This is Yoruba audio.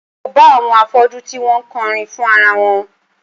Mo bá àwọn afọ́jú tí wọ́n ń kọrin fún ara wọn